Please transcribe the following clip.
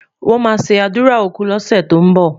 wón má sé ádùrá òkú lose tó n bó